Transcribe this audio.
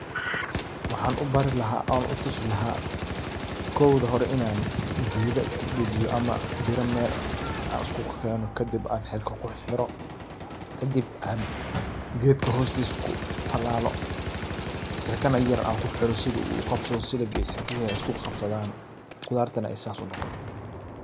Waxan u bari laxa on u tusi laxa, kowda hore inan gedaa iskudajiyo ama mira mel an iskukukeno, kadib an xirka kuxirxiro, kadob an gedka hostisa kutalalo, xirka yar na an kuxiro sidu u gabsadho siligi iyo xirgihi ay iskugagabsadhan, qudarti nah ay sas nogoto.